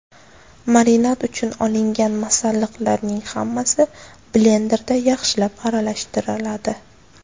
Marinad uchun olingan masalliqlarning hammasi blenderda yaxshilab aralashtiriladi.